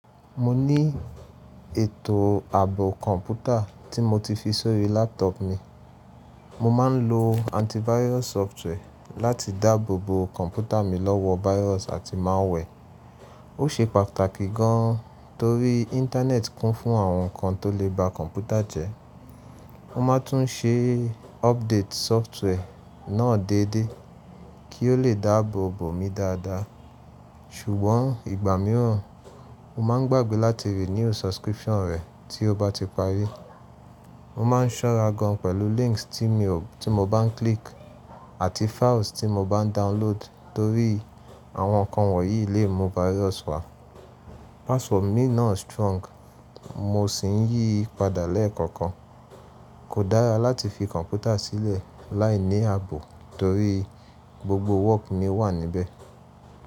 Mo ní ètò ààbò kọ̀ǹpútà tí mo ti fi sórí laptop mi. Mo máa ń lo antivirus software láti dáàbò bo kọ̀ǹpútà mi lọ́wọ́ virus àti malware. Ó ṣe pàtàkì gan torí Internet kún fún àwọn nǹkan tó lè ba kọ̀ǹpútà jẹ́. Mo ma tún ṣe update software náà déédéé kí o lè dáàbò bo mi dáadáa. Ṣùgbọ́n ìgbà mìíràn, mo máa ń gbàgbé láti renew subscription rẹ̀ tí ó bá ti parí. Mo ma ń ṣọ́ra gan pẹ̀lú links tí mo bá ń click àti files tí mo bá ń download torí àwọn nǹkan wọ̀nyí lè mú virus wá. Password mi ná strong mo sì ń yí padà lẹ́ẹ̀kọ̀kan. Kò dára láti fi kọ̀ǹpútà sílẹ̀ láìní ààbò torí gbogbo work mi wà níbẹ̀.